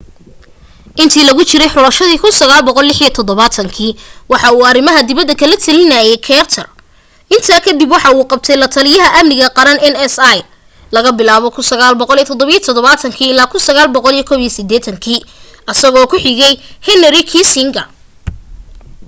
intii lagu jiray xulashadii 1976 waxa uu arimaha dibada kala talinaaye carter intaa kadib waxaa u qabtay lataliya amniga qaran nsa laga bilaabo 1977 ilaa 1981 asagoo ku xige henry kissinger